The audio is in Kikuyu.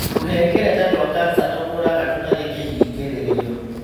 Tũhengereta twa kanca tũkũraga tũtarĩ kũhingĩrĩrio.